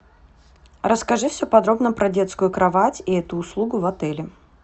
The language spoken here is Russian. расскажи все подробно про детскую кровать и эту услугу в отеле